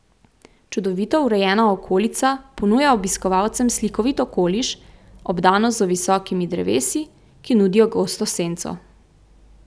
Čudovito urejena okolica ponuja obiskovalcem slikovit okoliš, obdano z visokimi drevesi, ki nudijo gosto senco.